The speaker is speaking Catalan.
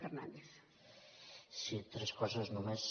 tres coses només